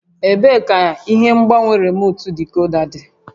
Ebee ka ihe ngbanwe remuutu dikoda dị?